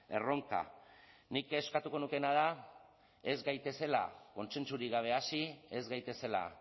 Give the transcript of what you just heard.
erronka nik eskatuko nukeena da ez gaitezela kontsentsurik gabe hasi ez gaitezela